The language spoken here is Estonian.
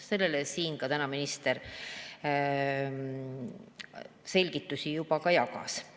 Selle kohta täna minister siin selgitusi juba ka jagas.